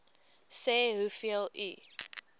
sê hoeveel u